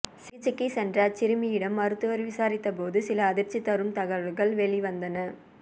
சிகிச்சைக்கு சென்ற அச்சிறுமியிடம் மருத்துவர் விசாரித்த போது சில அதிர்ச்சி தரும் தகவல்கள் வெளிவந்தன